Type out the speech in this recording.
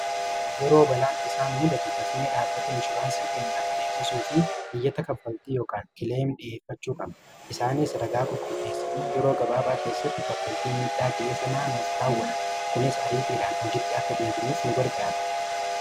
yeroo balaan tasaa nuu muudatu dafnee dhaabata inshuuraansii keenyaaf beeksisuu fi diyyata kaanffaltii yookaan kileem dhi'eeffachuu qabna isaaniis ragaa qulquuleessanii yeroo gabaabaa keessatti kaffaltii midhaa ga'ee sanaa nuuf raawwata kunis ariitiiraan hojitti akka dheebinuuf nu gargaare